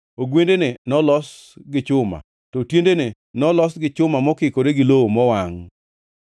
ogwendene nolos gi chuma, to tiendene nolos gi chuma mokikore gi lowo mowangʼ.